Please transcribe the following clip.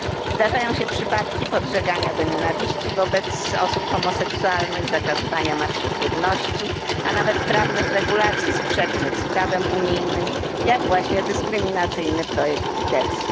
Zdarzają się przypadki podżegania do nienawiści wobec osób homoseksualnych, zakazywania marszów równości, a nawet prawnych regulacji sprzecznych z prawem unijnym, jak właśnie dyskryminacyjny projekt litewski.